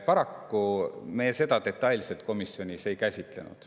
Paraku me seda detailselt komisjonis ei käsitlenud.